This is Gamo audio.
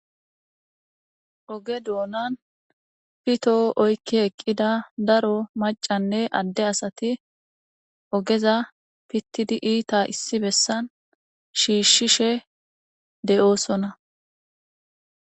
oge doonan pitoo oykki eqqida daro macanne adde asati ogeza pittidi iita issi bessan shiishshishe de7oosona